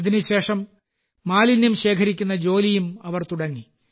അതിനുശേഷം മാലിന്യം ശേഖരിക്കുന്ന ജോലിയും അവർ തുടങ്ങി